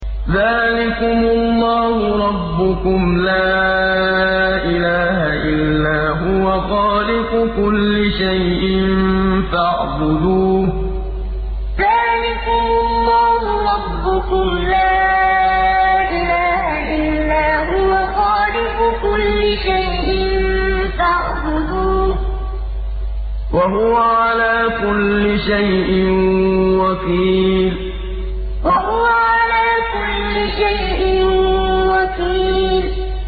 ذَٰلِكُمُ اللَّهُ رَبُّكُمْ ۖ لَا إِلَٰهَ إِلَّا هُوَ ۖ خَالِقُ كُلِّ شَيْءٍ فَاعْبُدُوهُ ۚ وَهُوَ عَلَىٰ كُلِّ شَيْءٍ وَكِيلٌ ذَٰلِكُمُ اللَّهُ رَبُّكُمْ ۖ لَا إِلَٰهَ إِلَّا هُوَ ۖ خَالِقُ كُلِّ شَيْءٍ فَاعْبُدُوهُ ۚ وَهُوَ عَلَىٰ كُلِّ شَيْءٍ وَكِيلٌ